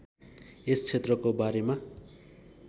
यस क्षेत्रको बारेमा